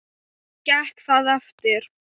Gekk það eftir.